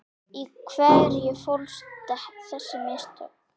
Í hverju fólust þessi mistök?